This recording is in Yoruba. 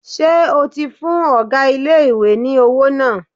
Ṣé o ti fún ọgá ilé-ìwé ní owó náà?